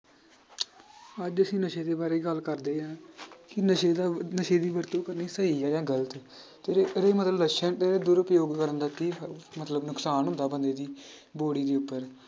ਅੱਜ ਅਸੀਂ ਨਸ਼ੇ ਦੇ ਬਾਰੇ ਗੱਲ ਕਰਦੇ ਹਾਂ ਕਿ ਨਸ਼ੇ ਦਾ ਨਸ਼ੇ ਦੀ ਵਰਤੋਂ ਕਰਨੀ ਸਹੀ ਆ ਜਾਂਂ ਗ਼ਲਤ ਤੇ ਇਹਦੇ ਮਤਲਬ ਨਸ਼ਿਆਂ ਦੇ ਦੁਰਉਪਯੋਗ ਕਰਨ ਦਾ ਕੀ ਮਤਲਬ ਨੁਕਸਾਨ ਹੁੰਦਾ ਬੰਦੇ ਦੀ body ਦੇ ਉੱਪਰ।